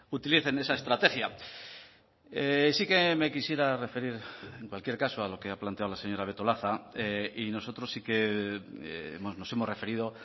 utilicen esa estrategia sí que me quisiera referir en cualquier caso a lo que ha planteado la señora betolaza y nosotros sí que nos hemos referido